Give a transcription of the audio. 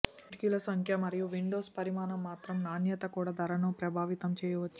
కిటికీల సంఖ్య మరియు విండోస్ పరిమాణం మరియు నాణ్యత కూడా ధరను ప్రభావితం చేయవచ్చు